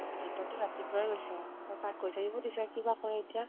দেউতাতো ৰাতিপুৱাই গৈছে ত তাক কৈ থৈদিব দিছে, কিবা কৰে